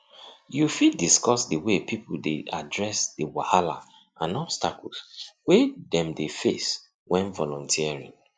you fit discuss the way people dey address di wahala and obstacles wey dem dey face when volunteering